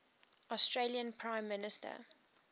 australian prime minister